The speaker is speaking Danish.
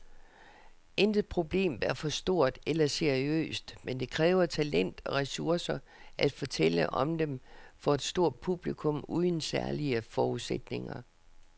Intet problem er for stort eller seriøst, men det kræver talent og ressourcer at fortælle om dem for et stort publikum uden særlige forudsætninger.